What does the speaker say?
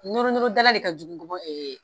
Noronorodala de ka jugu nkɔbɔ ɛɛ